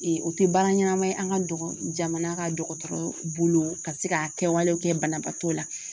o tɛ baara ɲɛnama ye an ka jamana ka dɔgɔtɔrɔ bolo ka se ka kɛwale kɛ banabaatɔ la